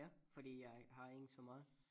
Her fordi jeg har ingen så meget